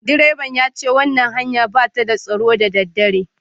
Direban ya ce wannan hanyar ba ta da tsaro da daddare